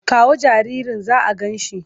Kawo jaririn za a gan shi!